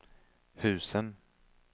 husen